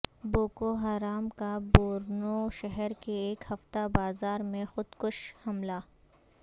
Boko Haram کا Borno شہر کے ایک ہفتہ بازار میں خود کش حملہ